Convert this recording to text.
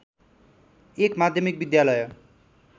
१ माध्यमिक विद्यालय